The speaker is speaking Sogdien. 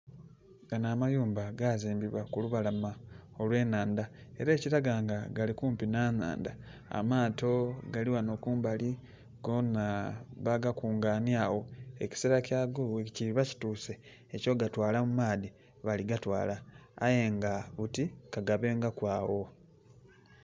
Ganho amayumba gazimbibwa ku lubalama olwe nhandha era ekilaga nga gali kumpi nha nhandha amaato gali ghanho kumbali goona bagakunganhya agho ekisero kyago bwe kuloba kituse ekyo gatwalau maadhi bali gatwala aye nga buti ka gabengaku ogho.